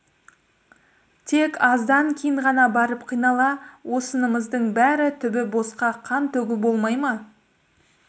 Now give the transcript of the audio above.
тек аздан кейін ғана барып қинала осынымыздың бәрі түбі босқа қан төгу болмай ма